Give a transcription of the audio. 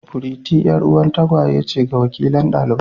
Pretty 'yar'uwar tagwaye ce ga wakilin daliban.